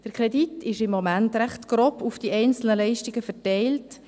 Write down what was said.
Der Kredit ist im Moment recht grob auf die einzelnen Leistungen verteilt.